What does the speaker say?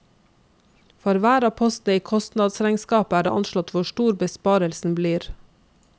For hver av postene i kostnadsregnskapet er det anslått hvor stor besparelsen blir.